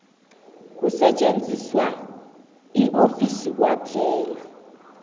kusetjenziswa yiofisi kwaphela